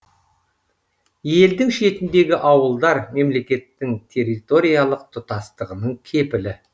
елдің шетіндегі ауылдар мемлекеттің территориялық тұтастығының кепілі